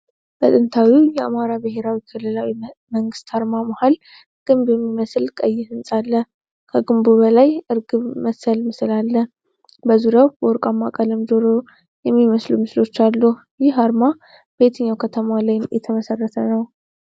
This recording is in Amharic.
በጥንታዊው የአማራ ብሔራዊ ክልላዊ መንግስት አርማ መሀል ግንብ የሚመስል ቀይ ህንፃ አለ። ከግንቡ በላይ ርግበ መሰል ምስል አለ። በዙሪያው በወርቃማ ቀለም ጆሮ የሚመስሉ ምስሎች አሉ። ይህ አርማ በየትኛው ከተማ ላይ የተመሰረተ ነው?